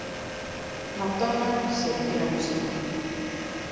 Madonna syrgir ömmu sína